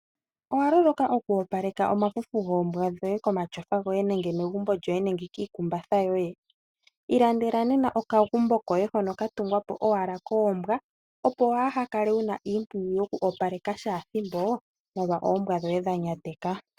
Owa loloka oku opaleka omafufu goombwa dhoye komatyofa goye nenge megumbo lyoye nenge kiikumbatha yoye? Ilandela nena okagumbo koombwa dhoye, hono ka tungwa po owala koombwa, opo waa ha kale wu na iimpwiyu yoku opaleka kehe ethimbo molwa oombwa dhoye dha nyateka.